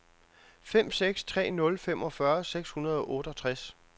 fem seks tre nul femogfyrre seks hundrede og otteogtres